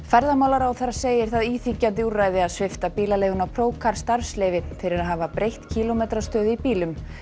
ferðamálaráðherra segir það íþyngjandi úrræði að svipta bílaleiguna Procar starfsleyfi fyrir að hafa breytt kílómetrastöðu í bílum